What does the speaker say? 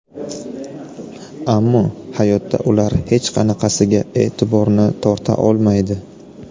Ammo hayotda ular hech qanaqasiga e’tiborni torta olmaydi.